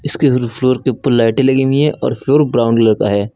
Floor के ऊपर लाइटें लगी हुई हैं और फ्लोर ब्राउन कलर का है।